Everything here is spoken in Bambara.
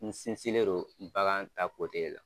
N sinsinlen do bagan ta la.